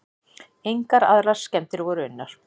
Engar aðrar skemmdir voru unnar.